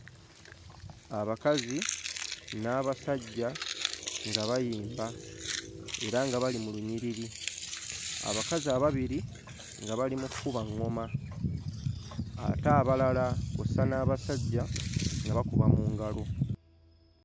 Abakazi n'abasajja nga bayimba era nga bali mu lunyiriri. Abakazi ababiri nga bali mu kkuba ŋŋoma ate abalala kw'ossa n'abasajja nga bakuba mu ngalo.